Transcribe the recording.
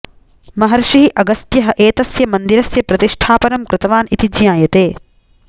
महर्षिः अगस्त्यः एतस्य मन्दिरस्य प्रतिष्ठापनं कृतवान् इति ज्ञायते